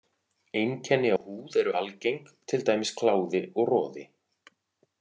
Einkenni á húð eru algeng, til dæmis kláði og roði.